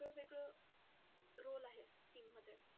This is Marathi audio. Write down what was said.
वेगळं वेगळं role आहे team मध्ये.